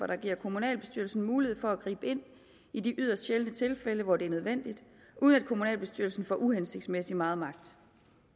der giver kommunalbestyrelsen mulighed for at gribe ind i de yderst sjældne tilfælde hvor det er nødvendigt uden at kommunalbestyrelsen får uhensigtsmæssig meget magt